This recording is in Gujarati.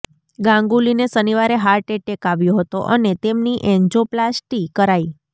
ગાંગુલીને શનિવારે હાર્ટ એટેક આવ્યો હતો અને તેમની એન્જોપ્લાસ્ટી કરાઇ